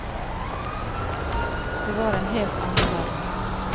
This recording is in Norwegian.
Det var en helt annen verden.